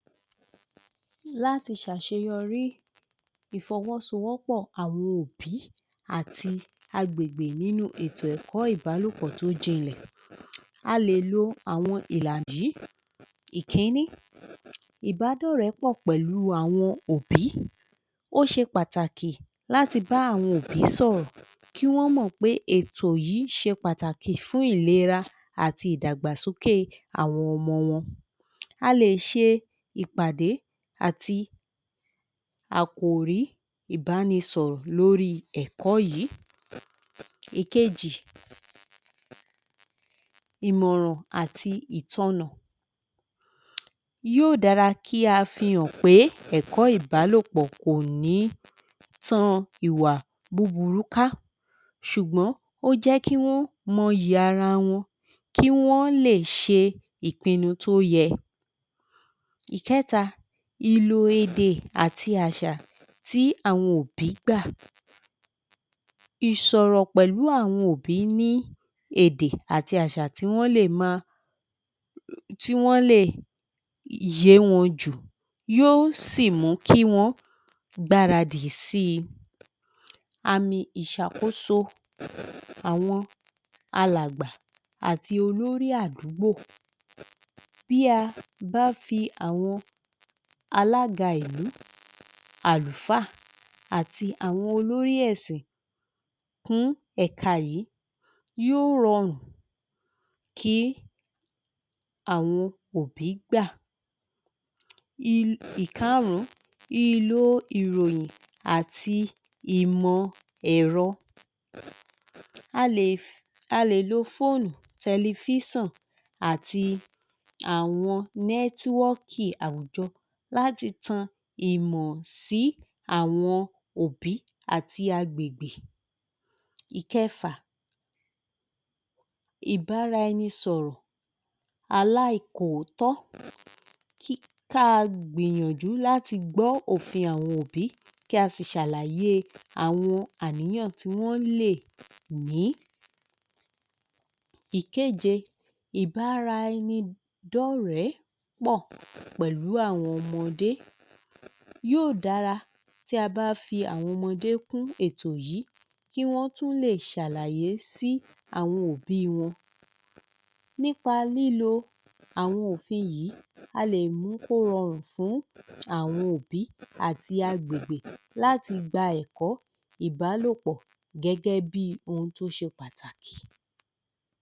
Láti ṣàṣeyọrí ìfọwọ́sowọ́pọ̀ àwọn òbí àti agbègbè nínú ètò ẹ̀kọ́ ìbálòpọ̀ tó jinlẹ̀. A lè lo àwọn ìlà yìí Ìkí-ín-ní Ìbádọ̀rẹ́pọ̀ pẹ̀lú àwọn òbí, ó ṣe pàtàkì láti bá àwọn òbí sọ̀rọ̀ kí wọ́n mọ̀ pé ètò yìí ṣe pàtàkì fún ìlera àti ìdàgbàsókè àwọn ọmọ wọn. A lè ṣe ìpàdé àti àkòrí ìbánisọ̀rọ̀ lórí ẹ̀kọ́ yìí. Èkejì Ìmọ̀ràn àti ìtọ́nà yóò dára kí a fi hàn pé ẹ̀kọ́ ìbálòpọ̀ kò ní tan ìwà búburú ká. Ṣùgbọ́n ó jẹ́ kí wọ́n mọ iyì ara wọn. Kí wọ́n lè ṣe ìpinnu tó yẹ. Ìkẹ́ta Ìlò-èdè àti àṣà tí àwọn òbí gbà. Ìsọ̀rọ̀ pẹ̀lú àwọn òbí ní èdè àti àṣà tí wọ́n lè máa, tí wọ́n lè yé wọn jù. Yóò sì mú kí wọn gbáradì sí i. Àmì ìṣàkóso àwọn alàgbà àti olórí àdúgbò Bí a bá fi àwọn alága ìlú, àlùfáà, àti àwọn olórí ẹ̀sìn kún ẹ̀ka yìí, yóò rọrùn kí àwọn òbí gbà. Ikàrún-ún Ìlò ìròyìn àti ìmọ̀-ẹ̀rọ. A lè lo fóònù, telifísọ̀n, àti àwọn nẹ́twọ̀kì àwùjọ láti tan ìmọ̀ sí àwọn òbí àti agbègbè Ìkẹfà Ìbáraẹnisọ̀rọ̀ aláìkòótọ́ ka gbìyànjú láti gbọ́ òfin àwọn òbí kí a sì ṣàlàyé àwọn àníyàn tí wọ́n lè ní. Ìkéje Ìbáraẹnidọ́ọ̀rẹ́ pọ̀ pẹ̀lú àwọn ọmọdé yóò dára tí a bá fi àwọn ọmọdé kún ètò yìí kí wọ́n tún lè ṣàlàyé sí àwọn òbí wọn. Nípa lílo àwọn òfin yìí, a lè mú kí ó rọrùn fún àwọn òbí àti agbègbè láti gba ẹ̀kọ́ ìbálòpọ̀ gẹ́gẹ́bí ohun tó ṣe pàtàkì.